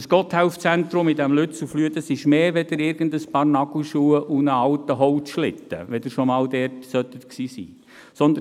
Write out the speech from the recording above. Dieses Gotthelf-Zentrum in Lützelflüh ist mehr als ein paar Nagelschuhe und ein alter Holzschlitten, wenn Sie schon mal dort gewesen sein sollten.